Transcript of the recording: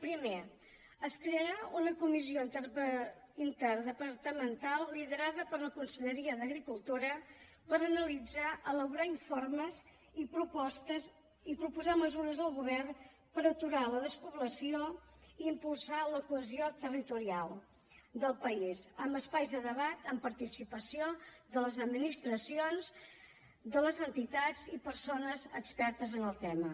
primer es crearà una comissió interdepartamental liderada per la conselleria d’agricultura per analitzar elaborar informes i proposar mesures al govern per aturar la despoblació i impulsar la cohesió territorial del país amb espais de debat amb participació de les administracions i de les entitats i persones expertes en el tema